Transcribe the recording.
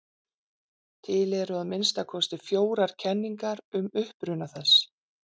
Til eru að minnsta kosti fjórar kenningar um uppruna þess.